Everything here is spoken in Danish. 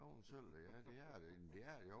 Det også en synd da ja det er det jamen det er det jo